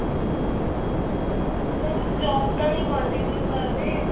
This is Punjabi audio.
ਨਹੀਂ job ਤਾਂ ਨਹੀ continue ਕ਼ਰ ਰਹੇ